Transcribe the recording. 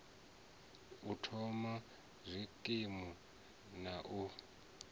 u thoma zwikimu na u